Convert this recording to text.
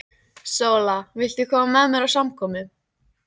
SÓLA: Viltu koma með mér á samkomu?